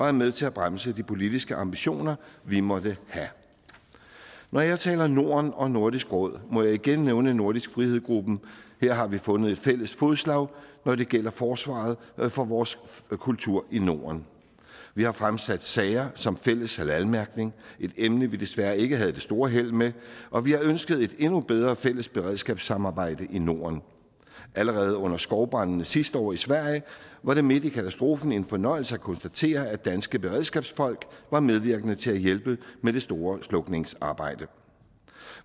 er med til at bremse de politiske ambitioner vi måtte have når jeg taler norden og nordisk råd må jeg igen nævne nordisk frihed her har vi fundet fælles fodslag når det gælder forsvaret for vores kultur i norden vi har fremsat sager som fælles halalmærkning et emne vi desværre ikke havde det store held med og vi har ønsket et endnu bedre fælles beredskabssamarbejde i norden allerede under skovbrandene sidste år i sverige var det midt i katastrofen en fornøjelse at konstatere at danske beredskabsfolk var medvirkende til at hjælpe med det store slukningsarbejde